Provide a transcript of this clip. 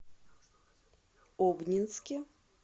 обнинске